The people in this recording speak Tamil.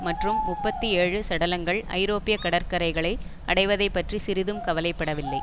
மற்றும் முப்பத்தி ஏழு சடலங்கள் ஐரோப்பிய கடற்கரைகளை அடைவதைப் பற்றி சிறிதும் கவலை படவில்லை